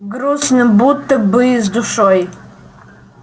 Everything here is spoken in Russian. грустно будто бы с душой